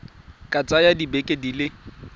ka tsaya dibeke di le